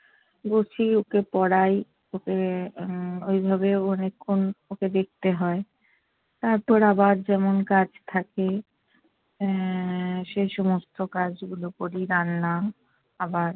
গুছিয়ে ওকে পড়াই, ওকে উম ওইভাবে অনেকক্ষণ ওকে দেখতে হয়। তারপর আবার যেমন কাজ থাকে, আহ সে সমস্ত কাজ গুলো করি। রান্না আবার-